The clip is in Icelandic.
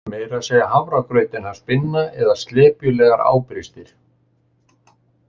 Meira að segja hafragrautinn hans Binna eða slepjulegar ábrystir